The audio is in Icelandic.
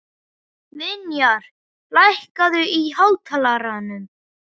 Vinjar, lækkaðu í hátalaranum.